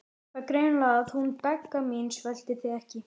Það er greinilegt að hún Begga mín sveltir þig ekki.